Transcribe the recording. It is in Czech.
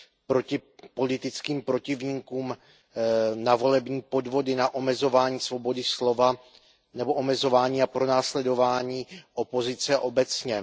proti politickým protivníkům, na volební podvody, na omezování svobody slova nebo omezování a pronásledování opozice obecně.